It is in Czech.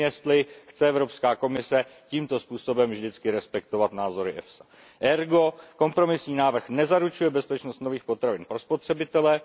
Nevím, jestli chce Evropská komise tímto způsobem vždycky respektovat názory EFSA. Ergo, kompromisní návrh nezaručuje bezpečnost nových potravin pro spotřebitele.